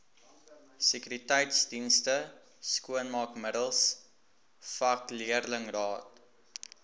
sekuriteitsdienste skoonmaakmiddels vakleerlingraad